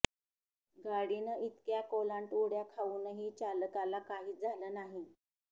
गाडीनं इतक्या कोलांट उड्या खाऊनही चालकाला काहीच झालं नाही